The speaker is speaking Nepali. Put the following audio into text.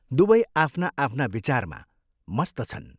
दुवै आफ्ना आफ्ना विचारमा मस्त छन्।